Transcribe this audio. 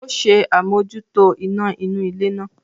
Ó ṣe àmójútó iná inú ilé náà